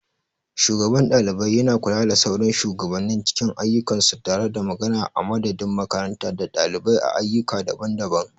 Shugaban ɗalibai yana kula da sauran shugabannin cikin ayyukansu tare da magana a madadin makaranta da ɗalibai a ayyuka daban-daban.